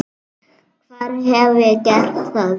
Hvar hef ég gert það?